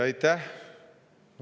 Aitäh!